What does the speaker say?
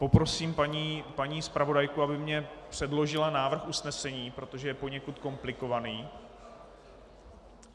Poprosím paní zpravodajku, aby mi předložila návrh usnesení, protože je poněkud komplikovaný.